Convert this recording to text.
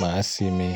máa ṣi mi.